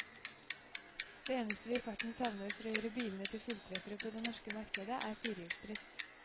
Det eneste vi i farten savner for å gjøre bilene til fulltreffere på det norske markedet, er firehjulsdrift.